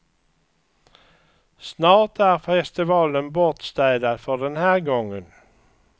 Snart är festivalen bortstädad för den här gången.